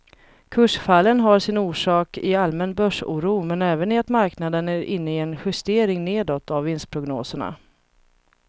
Kursfallen har sin orsak i allmän börsoro men även i att marknaden är inne i en justering nedåt av vinstprognoserna.